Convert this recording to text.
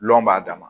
Lɔn b'a dama